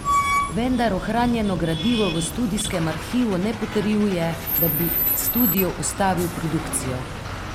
Vendar ohranjeno gradivo v studijskem arhivu ne potrjuje, da bi studio ustavil produkcijo.